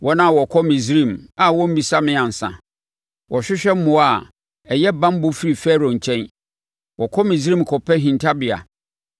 wɔn a wɔkɔ Misraim a wɔmmisa me ansa. Wɔhwehwɛ mmoa a ɛyɛ banbɔ firi Farao nkyɛn. Wɔkɔ Misraim kɔpɛ hintabea,